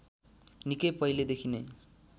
निकै पहिले देखिनै